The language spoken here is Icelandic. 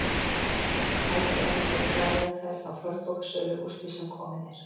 Hæpið að hann geti farið með þær á fornbókasölu úr því sem komið er.